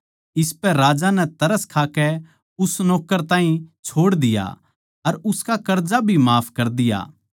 इसपै राजा नै तरस खाकै उस नौक्कर ताहीं छोड़ दिया अर उसका कर्जा भी माफ कर दिया